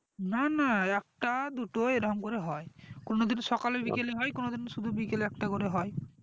না না একটা দুটো এইরকম করে হয় কোনো দিন সকালে বিকেলে কোনো দিন সুধু বিকেলে একটা করে হয়